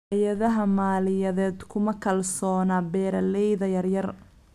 Hay'adaha maaliyadeed kuma kalsoona beeralayda yaryar.